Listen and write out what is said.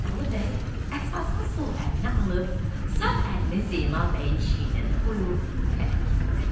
Alı bəy əsasını sol əlinə alıb, sağ əlini Zeynal bəyin çiyninə qoyub təkiddə.